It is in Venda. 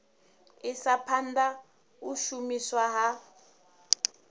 isa phanda u shumiswa ha